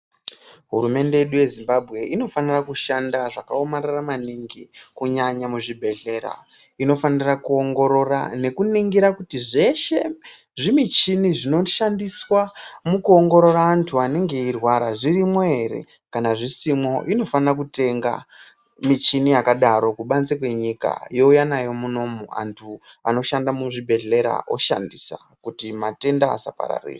Hurumende yedu yeZimbabwe inofanira kushanda zvakaomarara maningi kunyanya muzvibhehlera, inofanira kuongorora nekuningira kuti zveshe zvimichini zvinoshandiswa mukuongorora anthu anenge eirwara zvirimwo ere ,kana zvisimwo inofanira kutenga michini yakadaro kubanze kwenyika youya nayo munomu anthu anoshanda muzvibhehlera oshandisa kuti matenda asapararira.